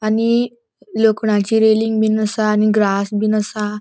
आणि लोखणाची रैलिंग बिन असा आणि ग्रास बिन असा.